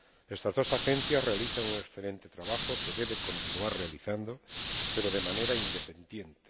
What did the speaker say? Estas dos agencias realizan un excelente trabajo, que deben continuar realizando, pero de manera independiente.